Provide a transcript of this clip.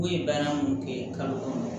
U ye baara mun kɛ kalo kɔnɔ